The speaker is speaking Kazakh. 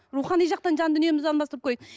рухани жақтан жан дүниемізді алмастырып көрейік